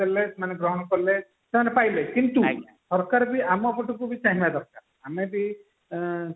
କଲେ ସେମାନେ ଗ୍ରହଣ କଲେ ସେମାନେ ପାଇଲେ କିନ୍ତୁ ସରକାର ବି ଆମ ପଟକୁ ବି ଚାହିଁବା ଦରକାର ଆମେ ବିଇ ଆଁ